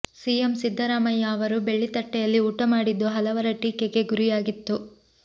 CM Siddaramaiah ಅವರು ಬೆಳ್ಳಿ ತಟ್ಟೆಯಲ್ಲಿ ಊಟ ಮಾಡಿದ್ದು ಹಲವರ ಟೀಕೆಗೆ ಗುರಿಯಾಗಿತ್ತು